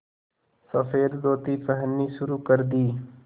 सफ़ेद धोती पहननी शुरू कर दी